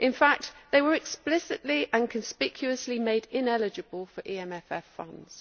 In fact, these were explicitly and conspicuously made ineligible for EMFF funds.